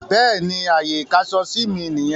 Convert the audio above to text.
Bẹ́ẹ̀ni, Ààyè ìkáṣọsí mí nìyẹn.